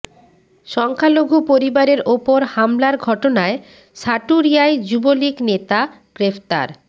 সংখ্যালঘু পরিবারের ওপর হামলার ঘটনায় সাটুরিয়ায় যুবলীগ নেতা গ্রেফতার